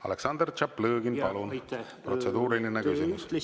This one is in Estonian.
Aleksandr Tšaplõgin, palun, protseduuriline küsimus!